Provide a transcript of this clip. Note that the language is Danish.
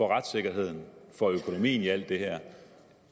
retssikkerheden og økonomien i alt det her